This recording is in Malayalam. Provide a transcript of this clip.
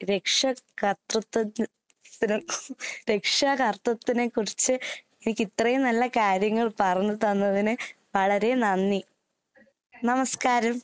രക്ഷ കര്ത്രുത്വ ത്തിന് രക്ഷാകർത്വത്തിനെക്കുറിച്ച് എനിക്കിത്രയും നല്ല കാര്യങ്ങൾ പറഞ്ഞ് തന്നതിന് വളരെ നന്ദി. നമസ്ക്കാരം.